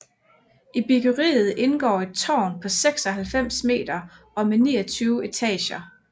I byggeriet indgår et tårn på 96 meter og med 29 etager